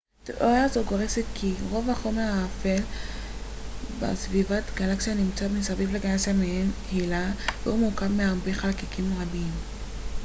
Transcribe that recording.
תיאוריה זו גורסת כי רוב החומר האפל בסביבת גלקסיה נמצא מסביב לגלקסיה במעין הילה והוא מורכב מהרבה חלקיקים קטנים